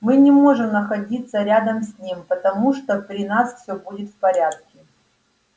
мы не можем находиться рядом с ним потому что при нас всё будет в порядке